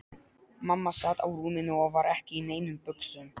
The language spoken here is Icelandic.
Mamma sat á rúminu og var ekki í neinum buxum.